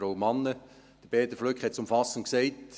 Peter Flück hat es umfassend gesagt.